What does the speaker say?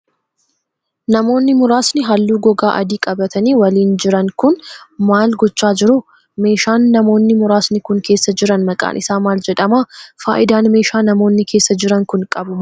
Namoonni muraasni haalluu gogaa adii qabaatanii waliin jira kun, maal gochaa jiru? Meeshaan namoonni muraasni kun, keessa jiran maqaan isaa maal jedhama? Faayidaan meeshaa namoonni keessa jiran kun qabu maal faa dha?